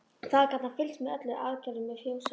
Þaðan gat hann fylgst með öllum aðgerðum við fjósið.